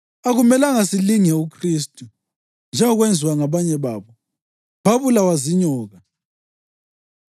Akumelanga silinge uKhristu njengokwenziwa ngabanye babo, babulawa zinyoka.